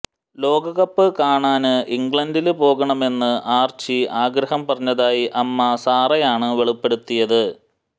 ലോകകപ്പ് കാണാന് ഇംഗ്ലണ്ടില് പോകണമെന്ന് ആര്ച്ചി ആഗ്രഹം പറഞ്ഞതായി അമ്മ സാറയാണ് വെളിപ്പെടുത്തിയത്